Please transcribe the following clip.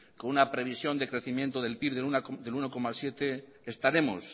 con una previsión de crecimiento del pib del uno coma siete estaremos